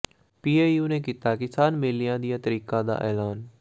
PAU ਨੇ ਕੀਤਾ ਕਿਸਾਨ ਮੇਲਿਆਂ ਦੀਆਂ ਤਰੀਕਾਂ ਦਾ ਐਲਾਨ